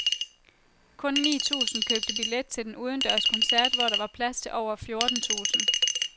Kun ni tusind købte billet til den udendørs koncert, hvor der var plads til over fjorten tusind.